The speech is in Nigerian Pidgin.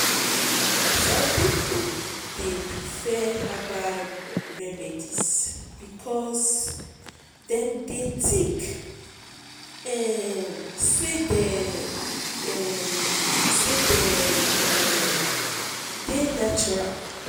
some people dey prefer herbal remedies because dem dey think um say dem um say dem um dey natural.